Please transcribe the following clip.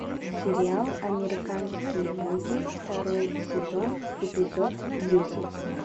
сериал американские боги второй сезон эпизод десять